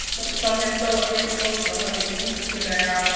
Sonja stóð á miðju gólfi og horfði illskulega á hann.